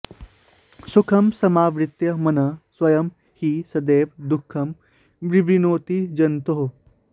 सुखं समावृत्य मनः स्वयं हि सदैव दुःखं विवृणोति जन्तोः